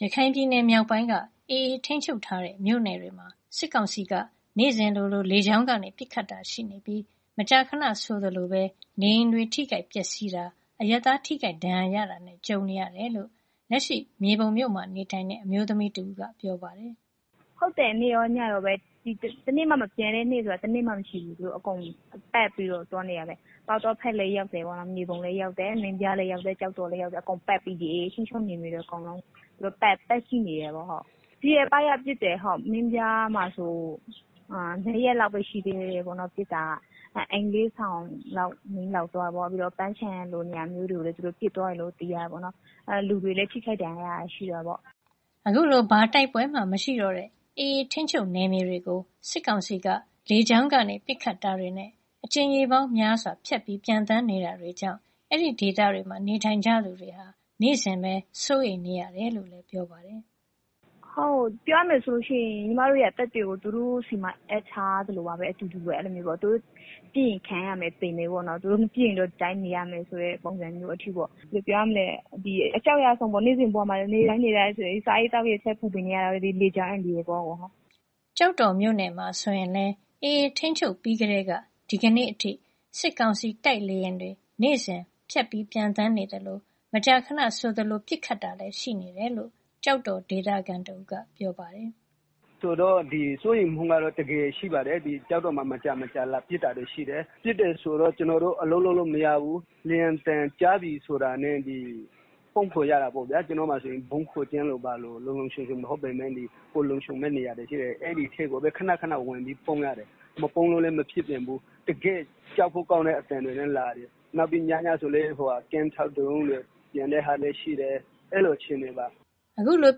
ရခိုင်ပြည်နယ်မြောက်ပိုင်းက AA ထိန်းချုပ်ထားတဲ့ မြို့နယ်တွေမှာ စစ်ကောင်စီက လေကြောင်း ပစ်ခတ်တာတွေ နေ့တိုင်းရှိနေပြီး မကြာခဏဆိုသလို နေအိမ်တွေ ပျက်စီးတာ အရပ်သား ထိခိုက် ဒဏ်ရာရတာတွေ ရှိနေတယ်လို့ လက်ရှိ မြေပုံမြို့မှာနေထိုင်တဲ့ အမျိုးသမီးတဦးက ပြောပါတယ်။ “ နေ့ရော ညရောပဲ တနေ့မှ မပျံတဲ့နေ့ဆိုတာ မရှိဘူး၊ သူတို့ အကုန်ပတ်ပြီးတော့ သွားနေတာပဲ ပေါက်တောဘက်လည်းရောက်တယ်၊ မြေပုံလည်းရောက်တယ် မင်းပြား ကျောက်တော်လည်း ရောက်တယ်။ AA ထိန်းချုပ်နယ်မြေတွေ အကုန်လုံးကို ပတ်ကြည့်နေတာ။ ဒီရက်ပိုင်းလည်း ပစ်တယ် မင်းပြားမှာဆိုရင် ၂ ရက်လောက်ပဲ ရှိသေးတယ် ပစ်တာ အိမ် ၄ ဆောင်လောက် မီးလောင်သွားတယ်။ ပြီးတော့ ပန်းခြံလို နေရာမျိုးတွေကို ပစ်တယ်။ လူတွေလည်း ထိိခိုက် ဒဏ်ရာရတာ ရှိတာပေါ့။” အခုလို ဘာတိုက်ပွဲမှ မရှိတော့တဲ့ AA ထိန်းချုပ်နယ်မြေတွေကို စစ်ကောင်စီက လေကြောင်းက ပစ်ခတ်တာတွေနဲ့ အကြိမ်ရေ ပေါင်းများစွာ ပျံသန်းနေတာတွေကြောင့် အဲဒီဒေသမှာ နေထိုင်ကြသူတွေအနေနဲ့ နေ့စဉ် စိုးရိမ်နေရတယ်လို့ သူကဆက်ပြောပါတယ်။ “ ပြောရမယ်ဆိုရင် ညီမတို့ရဲ့ အသက်တွေကို သူတို့ဆီမှာ အပ်ထားရသလိုပါပဲ၊ သူတို့ပစ်ရင် ခံရမယ် သေမယ်ပေါ့နော်၊ သူတို့ မပစ်ရင် ဒီအတိုင်းနေရမယ့်သဘောရှိတယ်။ ဘယ်လိုပြောရမလဲ နေ့စဉ်ဘဝမှာ စားဝတ်နေရေးထက် လေကြောင်းအန္တရာယ်ကို ပိုကြောက်နေကြရတယ်။” ကျောက်တော်မြို့နယ်မှာဆိုရင် AA ထိန်းချုပ်ပြီးကတည်းက ဒီကနေ့အထိ စစ်ကောင်စီတိုက် လေယာဉ်တွေ နေ့စဉ်ပျံသန်းနေသလို မကြာခဏဆိုသလို ပစ်ခတ်တာတွေ ရှိတယ်လို့လည်း ကျောက်တော် ဒေသခံတဦးက ပြောပါတယ်။ “ စိုးရိမ်မှုကတော့ တကယ်ရှိပါတယ်၊ ကျောက်တော်မှာ မကြာမကြာ လာပစ်တာရရှိတယ်။ ပစ်တော့ ကျနော်တို့ အလုပ်လုပ်လို့မရဘူး လေယာဉ်သံကြားပြီဆိုတာနဲ့ ပုန်းခိုရတာပေါ့ဗျာ။ ကျနော့မှာဆိုရင် ဗုံးခိုကျင်းလိုလို ဘာလိုလို လုံလုံခြုံခြုံမဟုတ်ပေမယ့် လုံခြုံမယ့်နေရာရှိတယ်။ အဲဒီထဲကိုပဲ ခဏခဏ ဝင်ပြေးရတယ်၊ မပုန်းလို့လည်း မရပြန်ဘူး၊ တကယ့်ကို ကြောက်ဖို့ကောင်းတဲ့ အသံတွေနဲ့ လာတယ်၊ ပြီးတော့ ညဘက်တွေဆိုရင်လည်း ကင်းထောက်ဒရုန်းတွေ လာတာရှိတယ်။ အဲလို အခြေအနေပါ။” အခုလို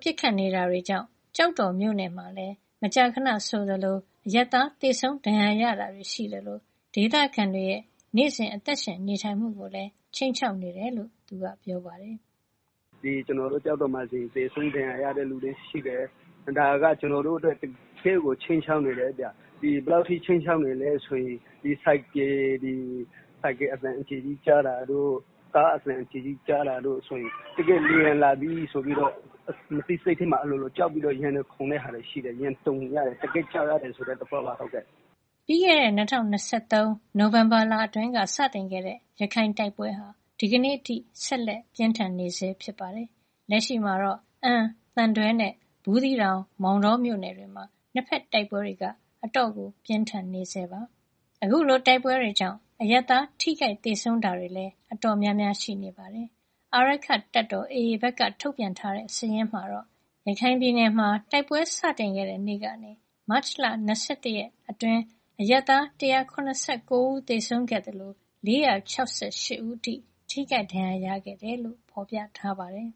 ပစ်ခတ်နေတာတွေကြောင့် ကျောက်တော်မြို့နယ်မှာလည်း မကြာခဏဆိုသလို အရပ်သား သေဆုံးဒဏ်ရာရတာတွေ ရှိသလို ဒေသခံတွေရဲ့ နေ့စဉ်အသက်ရှင်နေထိုင်မှုကို ခြိမ်းခြောက်နေတာဖြစ်တယ်လို့လည်း သူက ဆက်ပြောပါတယ်။ “ ကျနော်တို့ ကျောက်တော်မှာဆိုရင် သေဆုံးဒဏ်ရာရတဲ့သူလည်းရှိတယ်။ ဒါက ကျနော်တို့အတွက် တကယ့်ကို ခြိမ်းခြောက်မှုဖြစ်တယ်၊ ဘယ်လောက်ထိလည်းဆိုရင် ဆိုင်ကယ်သံတို့ ကားသံတို့ အကျယ်ကြီးကြားရင်တောင် လေယာဉ်လာပြီဆိုပြီးတော့ မသိစိတ်ထဲမှာ အလိုလို ကြောက်ပြီး ရင်တုန်နေရတယ်။” ပြီးခဲတဲ့ ၂၀၂၃ ခုနှစ် နိုဝင်ဘာလအတွင်းက စတင်ခဲ့တဲ့ ရခိုင်တိုက်ပွဲဟာ ဒီကနေ့အထိ ဆက်လက် ပြင်းထန်နေဆဲ ဖြစ်ပါတယ်။ လက်ရှိမှာတော့ အမ်း သံတွဲနဲ့ ဘူးသီးတောင် မောင်တော မြို့နယ်တွေမှာ နှစ်ဘက်တိုက်ပွဲတွေ အတော် ပြင်းထန်နေဆဲဖြစ်ပါတယ်။ အခုလို တိုက်ပွဲတွေကြောင့် အရပ်သား ထိခိုက်သေဆုံးတာတွေလည်း တော်တော်များများ ရှိနေတာပါ။ အာရက္ခတပ်တော် AA ဘက်က ထုတ်ပြန်ထားတဲ့ စာရင်းအရ ရခိုင်ပြည်နယ်မှာ တိုက်ပွဲ စတင်ခဲ့တဲ့နေ့ကနေ မတ်လ ၂၁ ရက်နေ့ထိ တိုက်ပွဲအတွင်း အရပ်သား ၁၇၉ ဦးသေဆုံးခဲ့သလို ၄၆၈ ဦးအထိ ထိခိုက်ဒဏ်ရာ ရရှိခဲ့တယ်လို့ ဖော်ပြထားပါတယ်